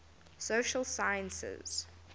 social sciences